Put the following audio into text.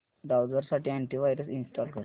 browser साठी antivirus install कर